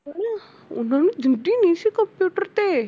ਹਨਾ ਉਹਨਾਂ ਨੂੰ computer ਤੇ